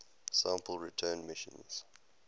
sample return missions